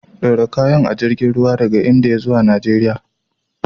Ɗora kayan a jirgin ruwa daga Indiya zuwa Najeriya.